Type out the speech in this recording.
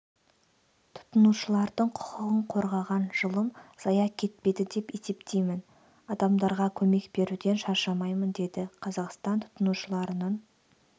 тұтынушылардың құқығын қорғаған жылым зая кетпеді деп есептеймін адамдарға көмек беруден шаршамаймын деді қазақстан тұтынушыларының